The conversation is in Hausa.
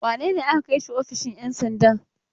Wane ne aka kai shi ofishin 'yan sanda?